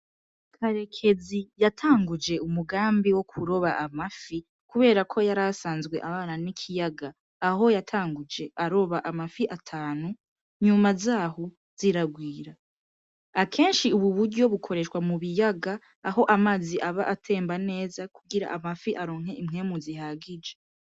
Karekezi yatanguje umugambi wo kuroba amafi, kubera ko yari asanzwe abana n'ikiyaga aho yatanguje aroba amafi atanu nyuma zaho ziragwira, akenshi ubu buryo bukoreshwa mu biyaga aho amazi aba atemba neza kugira amafi aronke impwemu zihagije.